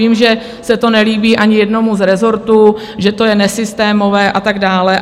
Vím, že se to nelíbí ani jednomu z rezortů, že to je nesystémové a tak dále.